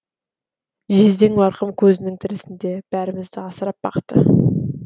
жездең марқұм көзінің тірісінде бәрімізді асырап бақты